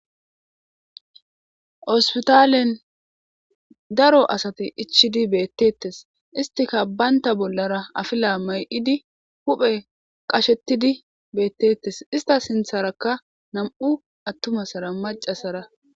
Hospitalen daro asati ichidi beettettes istika baynta bollara afila may7idi huphe qashettidi beettettes ista sintharakka nam7u attumassara macasara.